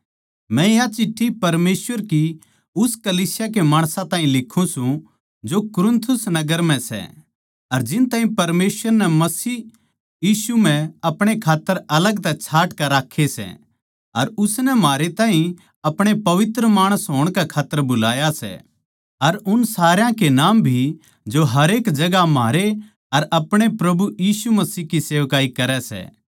मै या चिट्ठी परमेसवर की उस कलीसिया के माणसां ताहीं लिखूँ सूं जो कुरिन्थिस नगर म्ह सै अर जिन ताहीं परमेसवर नै मसीह यीशु म्ह अपणे खात्तर अलग तै छाँट कै राक्खे सै अर उसनै म्हारे ताहीं अपणे पवित्र माणस होण कै खात्तर बुलाये सै अर उन सारया के नाम भी जो हरेक जगहां म्हारे अर अपणे प्रभु यीशु मसीह की सेवकाई करै सै